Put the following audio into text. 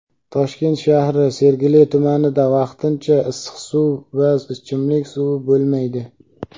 Toshkent shahri Sergeli tumanida vaqtincha issiq suv va ichimlik suvi bo‘lmaydi.